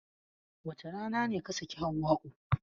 Wace rana ne ka sake Hauwa'u?